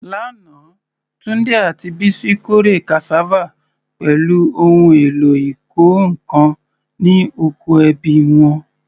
Lánàá, Tunde àti Bisi kórè cassava pẹ̀lú ohun èlò ìkọ́ nǹkan ní oko ẹbí wọn.